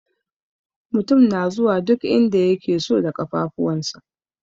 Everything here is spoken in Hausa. Mutum na zuwa duk inda yake so da ƙafafuwansa.